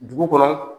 Dugu kɔnɔ